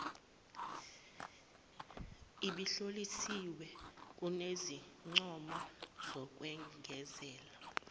ebihlosiwe kunezincomo zokwengezela